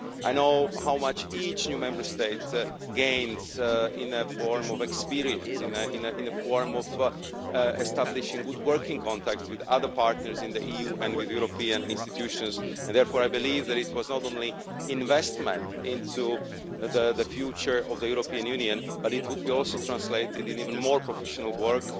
I know how much each new Member State gains in the form of experience, in the form of establishing good working contacts with other partners in the EU and with European institutions, and therefore I believe that it was not only investment into the future of the European Union but it will also translate into even more professional work